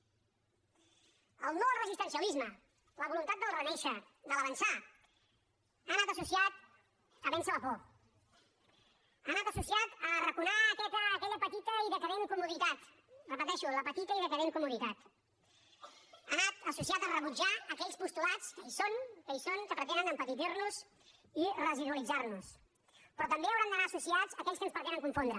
el no al resistencialisme la voluntat del fet de renéixer del fet d’avançar han anat associats a vèncer la por han anat associats a arraconar aquella petita i decadent comoditat ho repeteixo la petita i decadent comoditat han anat associats a rebutjar aquells postulats que hi són que hi són que pretenen empetitir nos i residualitzar nos però també hauran d’anar associats a aquells que ens pretenen confondre